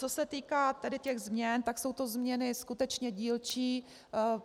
Co se týká tedy těch změn, tak jsou to změny skutečně dílčí.